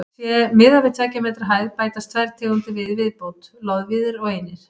Sé miðað við tveggja metra hæð bætast tvær tegundir við í viðbót: loðvíðir og einir.